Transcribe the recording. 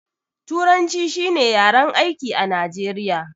Turanci shi ne yaren aiki a najeriya